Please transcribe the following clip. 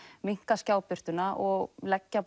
minnka skjábirtuna og leggja